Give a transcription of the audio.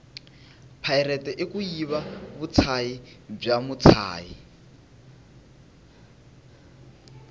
pirate ikuyiva vutshayi bwamutshayi